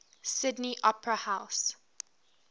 sydney opera house